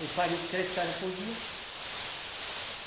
Eles fazem três casas por dia.